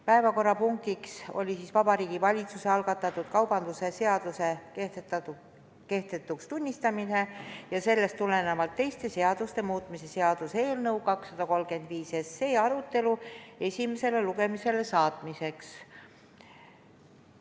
Päevakorrapunktiks oli Vabariigi Valitsuse algatatud kaubandustegevuse seaduse kehtetuks tunnistamise ja sellest tulenevalt teiste seaduste muutmise seaduse eelnõu 235 arutelu esimesele lugemisele saatmiseks.